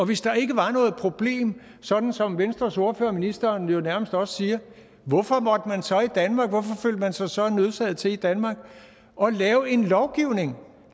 hvis der ikke var noget problem sådan som venstres ordfører og ministeren jo nærmest også siger hvorfor følte man sig så nødsaget til i danmark at lave en lovgivning